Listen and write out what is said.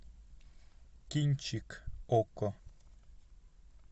кинчик окко